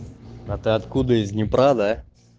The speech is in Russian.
а ты откуда из днепра да